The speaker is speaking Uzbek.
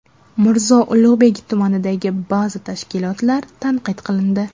Mirzo Ulug‘bek tumanidagi ba’zi tashkilotlar tanqid qilindi.